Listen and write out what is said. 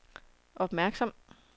opmærksom